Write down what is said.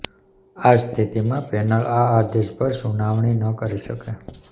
આ સ્થિતિમાં પેનલ આ આદેશ પર સુનાવણી ન કરી શકે